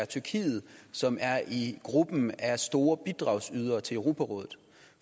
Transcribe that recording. tyrkiet som er i gruppen af store bidragsydere til europarådet